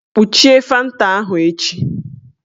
Kpuchie fanta ahụ echi